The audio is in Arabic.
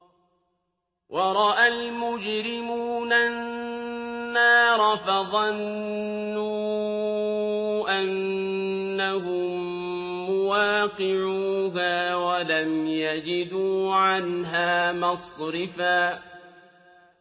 وَرَأَى الْمُجْرِمُونَ النَّارَ فَظَنُّوا أَنَّهُم مُّوَاقِعُوهَا وَلَمْ يَجِدُوا عَنْهَا مَصْرِفًا